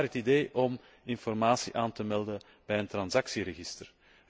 Vandaar het idee om informatie aan te melden bij een transactieregister.